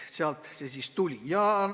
Sealt see siis tuli.